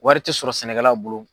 Wari tɛ sɔrɔ sɛnɛkɛla bolo.